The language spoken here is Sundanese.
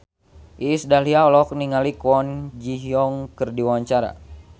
Iis Dahlia olohok ningali Kwon Ji Yong keur diwawancara